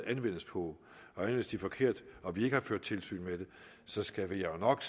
anvendes på anvendes de forkert og vi ikke har ført tilsyn med det så skal vi jo nok